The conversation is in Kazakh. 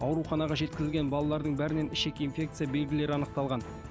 ауруханаға жеткізілген балалардың бәрінен ішек инфекция белгілері анықталған